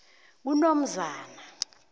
kunomzana